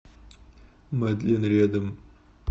мадлен рядом